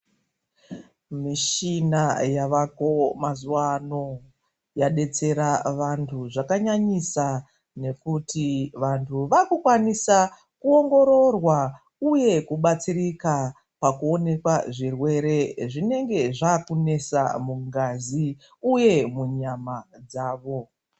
Mishina yavako mazuva ano yadetsera vantu zvakanyanyisa ngekuti vantu vakukwanisa kuongororwa uye kubatsirika pakuonekwa zvirwere zvinenge zvakunesa mungazi uye munyama dzavo.